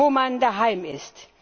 wo man daheim ist.